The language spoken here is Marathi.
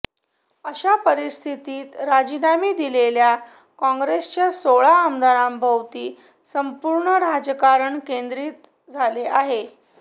अशा परिस्थितीत राजीनामे दिलेल्या काँग्रेसच्या सोळा आमदारांभोवती संपूर्ण राजकारण केंद्रीत झाले आहे